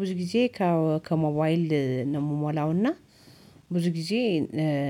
ብዙ ጊዜ ከሞባይል ነው የምሞላው እና ብዙ ጊዜ